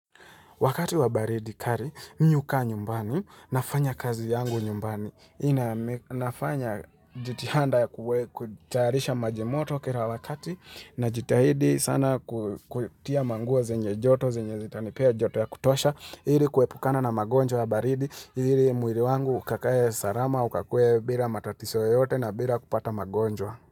Wakati wa baridi kali, mimi hukaa nyumbani, nafanya kazi yangu nyumbani. Nina nafanya jitihada ya kutayarisha maji moto kila wakati, najitahidi sana kutia manguo zenye joto, zenye zitanipea joto ya kutosha, ili kuepukana na magonjwa ya baridi, ili mwili wangu ukakae salama, ukakue bila matatizo yoyote na bila kupata magonjwa.